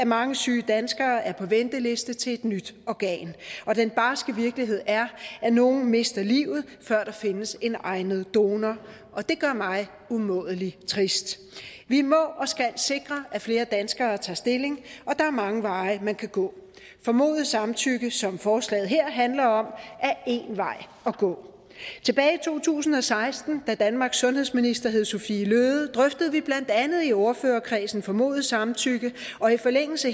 mange syge danskere er på venteliste til et nyt organ og den barske virkelighed er at nogle mister livet før der findes en egnet donor og det gør mig umådelig trist vi må og skal sikre at flere danskere tager stilling og der er mange veje man kan gå formodet samtykke som forslaget her handler om er en vej at gå tilbage i to tusind og seksten da danmarks sundhedsminister hed sophie løhde drøftede vi blandt andet i ordførerkredsen formodet samtykke og i forlængelse